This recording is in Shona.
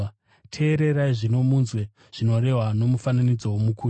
“Teererai zvino munzwe zvinorehwa nomufananidzo womukushi: